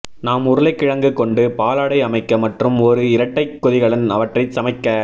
நாம் உருளைக்கிழங்கு கொண்டு பாலாடை அமைக்க மற்றும் ஒரு இரட்டை கொதிகலன் அவற்றை சமைக்க